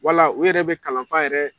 Wala u yɛrɛ bɛ kalanfa yɛrɛ